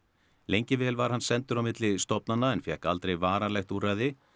lengi vel var hann sendur á milli stofnana en fékk aldrei varanlegt úrræði